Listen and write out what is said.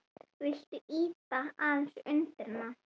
Viltu ýta aðeins undir hana?